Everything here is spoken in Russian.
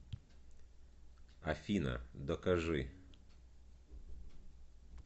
афина докажи